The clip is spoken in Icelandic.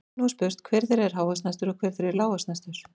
Nú er spurt, hver þeirra er hávaxnastur og hver þeirra er lágvaxnastur?